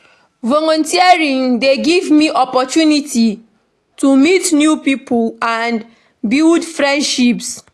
Volunteering dey give me opportunity to meet new pipo and build friendships.